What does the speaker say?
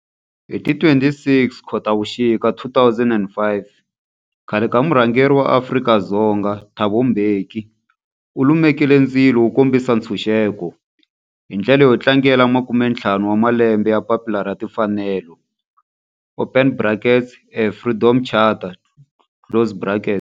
Hi ti 26 Khotavuxika 2005 khale ka murhangeri wa Afrika-Dzonga Thabo Mbeki u lumekile ndzilo wo kombisa ntshuxeko, hi ndlela yo tlangela makumentlhanu wa malembe ya papila ra timfanelo, open brackets, Freedom Charter, closed brackets.